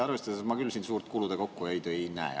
Mina küll siin suurt kulude kokkuhoidu ka ei näe.